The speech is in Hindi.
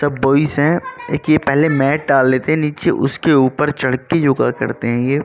सब बॉय्ज़ है। एक यह पहले मैट डाल लेते है नीचे उसके ऊपर चढ़के योगा करते है ये।